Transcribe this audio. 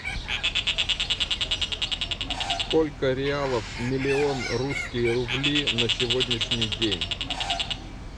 сколько реалов миллион русские рубли на сегодняшний день